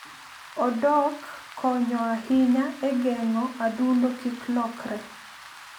Odok konyo ahinya e geng'o adundo kik lokre.